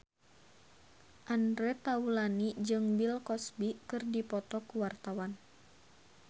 Andre Taulany jeung Bill Cosby keur dipoto ku wartawan